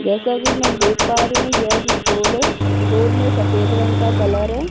जैसा कि मैं देख पा रही हूँ यह एक स्टोर है स्टोर में सफेद रंग का कलर है।